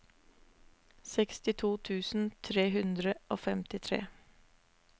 sekstito tusen tre hundre og femtitre